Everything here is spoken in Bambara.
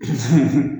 Hun